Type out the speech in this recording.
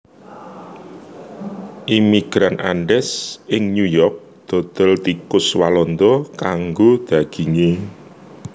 Imigran Andes ing New York dodol tikus walanda kanggo daginge